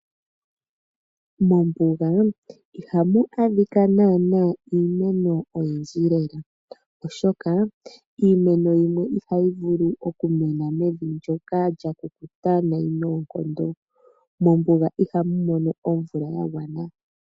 Mombuga ihamu adhika nana iimeno oyindji lela oshoka iimeno yimwe ihayi vulu okumena mevi ndyoka lyakukuta nayi noonkondo. Mombuga ihamu mono omvula yagwana.